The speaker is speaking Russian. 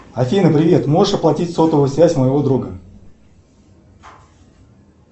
афина привет можешь оплатить сотовую связь моего друга